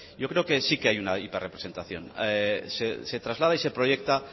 yo creo que sí hay una hiper representación se traslada y proyecta